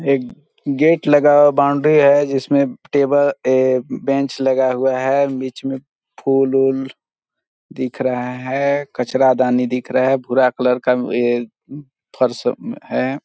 एक गेट लगा हुआ बाउंड्री है जिसमे टेबल ए-- बेंच लगा हुआ है बीच में फूल-वूल दिख रहा है कचरादानी दिख रहा है भूरा कलर का में ये फर्स में है।